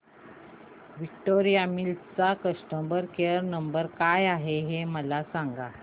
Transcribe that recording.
Victoria Mills चा customer care number काय आहे हे मला सांगा